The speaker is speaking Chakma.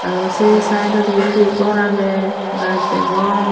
aro se sideondi undi hor aagey gaj degong.